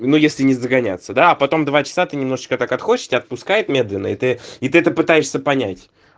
ну если не загоняться да а потом два часа ты немножечко так отходишь тебя отпускает медленно и ты и ты это пытаешься понять